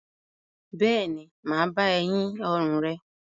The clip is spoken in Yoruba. Bẹ́ẹ̀ ni, m á bá ẹ yín ọrùn rẹ.